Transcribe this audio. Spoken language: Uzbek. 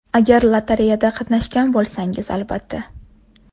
Agar lotereyada qatnashgan bo‘lsangiz, albatta.